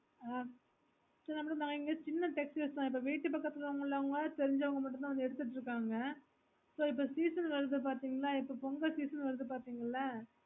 ஆஹ் சேரி நம்மளோ இங்க சின்ன textiles தா விட்டு பக்கட்டுலயுள்ளவங்க தெரிஞ்சவங்க மட்டும்தா வந்து எடுத்துட்டு இருகாங்க so இப்போ season வரது பாத்தீங்கன்னா இப்போ pongal season வருது பாத்திங்களே